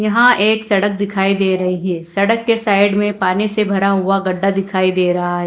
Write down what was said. यहां एक सड़क दिखाई दे रही है सड़क के साइड में पानी से भरा हुआ गड्ढा दिखाई दे रहा है।